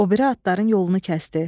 O biri atların yolunu kəsdi.